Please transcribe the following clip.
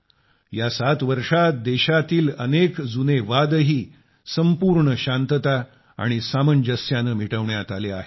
या 7 वर्षात देशातील अनेक जुने वादही संपूर्ण शांतता व सामंजस्याने मिटविण्यात आले आहेत